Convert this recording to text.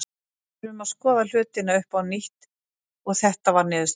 Við þurftum að skoða hlutina upp á nýtt og þetta var niðurstaðan.